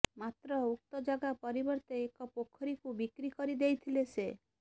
ମାତ୍ର ଉକ୍ତ ଜାଗା ପରିବର୍ତ୍ତେ ଏକ ପୋଖରୀକୁ ବିକ୍ରି କରିଦେଇଥିଲେ ସେ